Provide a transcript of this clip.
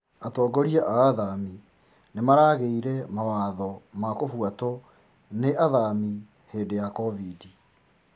Atongoria a athami nĩmaraigĩre mawatho ma kũbũatwo nĩ athami hĩndĩ ya kovid